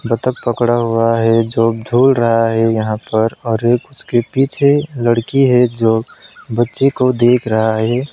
बतख पकड़ा हुआ है जो झूल रहा है यहां पर और एक उसके पीछे एक लड़की है जो बच्चे को देख रहा है।